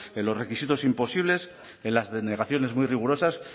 en los requisitos imposibles en las denegaciones muy rigurosas